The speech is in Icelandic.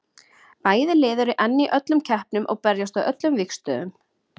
Bæði lið eru enn í öllum keppnum og berjast á öllum vígstöðvum.